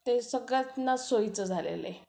ते सगळ्यांनाच सोयीचं झालेलं आहे.